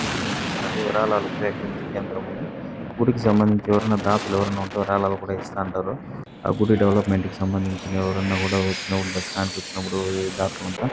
గుడి కన్పిస్తున్నది. విరాళాలు సేకరించి కేంద్రం అన్ని గుడికి సంబంధించి ఎవరైనా దాతలు ఎవరైనా ఉంటే ఎవరైనాయుంటే విరాళాలు కూడా ఇస్తా ఉంటారు. ఆ గుడి డెవలప్మెంట్ కి సంబంధించి ఎవరైనా కూడా వచ్చినా కూడా దర్శనానికి వచ్చినపుడు ఈ దాతలంతా--